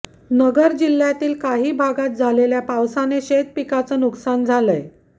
नगर जिल्ह्यातील काही भागात झालेल्या पावसाने शेतीपिकाचं नुकसान झालंय